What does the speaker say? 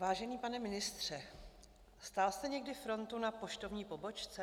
Vážený pane ministře, stál jste někdy frontu na poštovní pobočce?